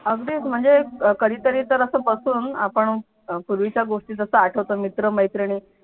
अगदीच म्हणजे कधी तरी तर असं बसून आपण पूर्वीच्या गोष्टी जस आठवतो मित्र मैत्रिणी